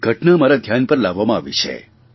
એક ઘટના મારા ધ્યાન પર લાવવામાં આવી છે